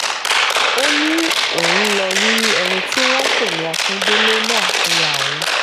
ó ní òun ń lọ́ọ́ rí ẹni tí wọ́n ń pè ní akíndélé náà fúnra òun